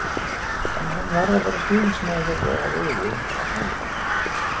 En hann varð að vera stuðningsmaður þeirra rauði, var það ekki?!